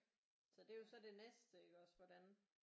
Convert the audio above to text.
Så det er jo næste iggås hvordan